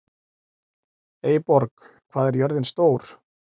Eyborg, hvað er jörðin stór?